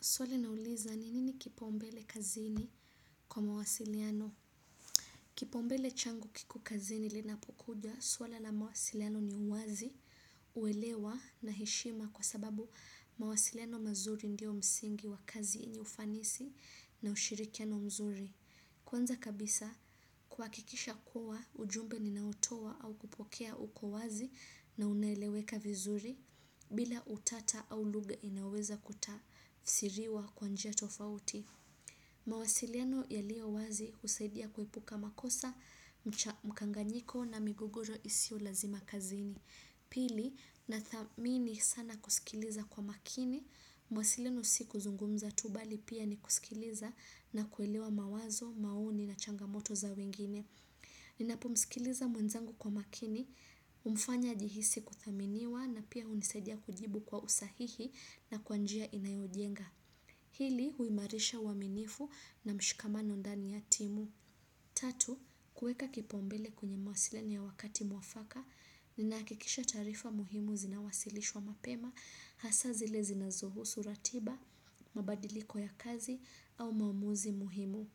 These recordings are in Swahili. Swali na uliza, nini ni kipaumbele kazini kwa mawasiliano? Kipaumbele changu kiku kazini linapokuja, awale na mawasiliano ni uwazi, uelewa na heshima kwa sababu mawasiliano mazuri ndio msingi wa kazi ya ufanisi na ushirikiano mzuri. Kwanza kabisa kuwakikisha kuwa ujumbe ninautowa au kupokea uko wazi na uneleweka vizuri bila utata au luga inaweza kutafsiriwa kwa njia tofauti. Mawasiliano yaliowazi usaidia kuepuka makosa mkanganyiko na migogoro isio lazima kazini. Pili, nathamini sana kusikiliza kwa makini, mawasiliano si kuzungumza tu bali pia ni kusikiliza na kuelewa mawazo, maoni na changamoto za wengine. Ninapo msikiliza mwenzangu kwa makini, umfanya aijihisi kuthaminiwa na pia unisaidia kujibu kwa usahihi na kwa njia inayojenga. Hili, huimarisha uwaminifu na mshikamano ndani ya timu. Tatu, kuweka kipaumbele kwenye mawasiliano ya wakati mwafaka, ni naakikisha taarifa muhimu zinawasilishwa mapema, hasa zile zinazuohusu ratiba, mabadiliko ya kazi, au maamuzi muhimu.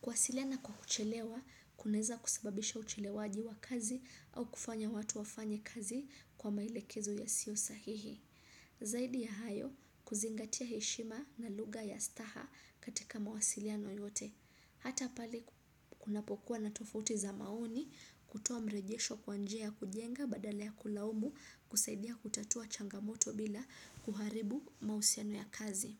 Kuwasiliana kwa kuchelewa, kuneza kusababisha uchelewaji wa kazi au kufanya watu wafanye kazi kwa maelekezo yasio sahihi. Zaidi ya hayo kuzingatia hishima na luga ya staha katika mawasiliano yote. Hata pale kunapokua natofuti za maoni kutoa mrejesho kwa njia ya kujenga badala ya kulaumu kusaidia kutatua changamoto bila kuharibu mausiano ya kazi.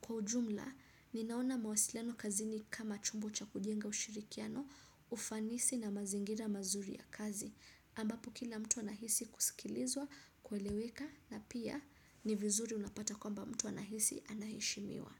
Kwa ujumla, ninaona mawasiliano kazini kama chombo cha kudenga ushirikiano, ufanisi na mazingira mazuri ya kazi. Ambapokila mtu anahisi kusikilizwa, kweleweka na pia ni vizuri unapata kwamba mtu anahisi anaheshimiwa.